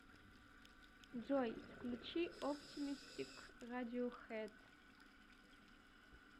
джой включи оптимистик радиохэд